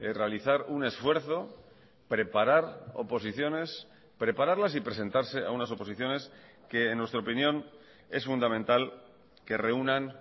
realizar un esfuerzo preparar oposiciones prepararlas y presentarse a unas oposiciones que en nuestra opinión es fundamental que reúnan